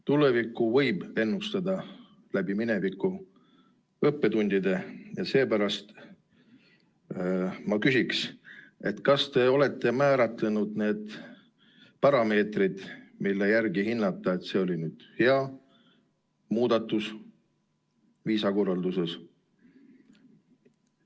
Tulevikku võib ennustada läbi mineviku õppetundide ja seepärast ma küsin, kas te olete määratlenud need parameetrid, mille järgi hinnata, et see oli hea muudatus viisakorralduses.